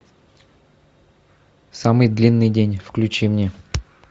самый длинный день включи мне